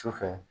Sufɛ